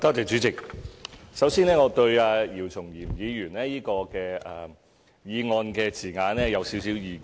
主席，首先，我對姚松炎議員這項議案的字眼有少許意見。